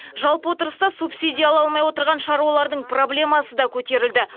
жалпы отырыста субсидия ала алмай отырған шаруалардың проблемасы да көтерілді